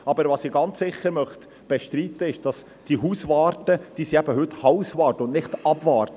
Aber, was ich ganz sicher bestreiten möchte: Die Hauswarte sind heute eben warte, und nicht warte.